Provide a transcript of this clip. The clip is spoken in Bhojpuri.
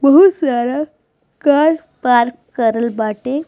बहुत सारा कार पार्क करल बाटे।